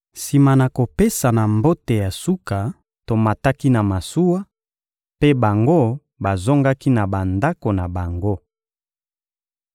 Sima na kopesana mbote ya suka, tomataki na masuwa, mpe bango bazongaki na bandako na bango.